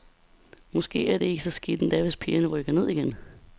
Måske er det ikke så skidt endda, hvis pigerne rykker ned igen.